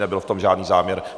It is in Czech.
Nebyl v tom žádný záměr.